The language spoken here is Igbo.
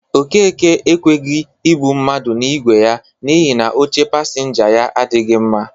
Okeke ekweghi ebụ mmadụ n'igwe ya n'ihi na oche pasịnja ya adịkwagị mma.